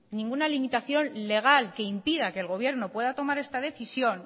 ninguna limitación legal que impida que el gobierno pueda tomar esta decisión